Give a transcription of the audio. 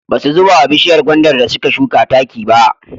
Ba su zuba wa bishiyar gwandar da suka shuka taki ba.